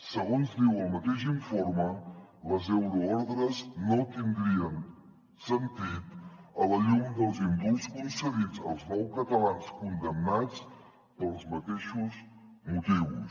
segons diu el mateix informe les euroordres no tindrien sentit a la llum dels indults concedits als nou catalans condemnats pels mateixos motius